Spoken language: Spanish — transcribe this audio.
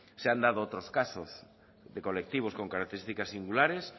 se han dado otros casos de colectivos con características singulares